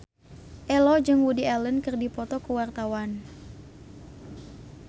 Ello jeung Woody Allen keur dipoto ku wartawan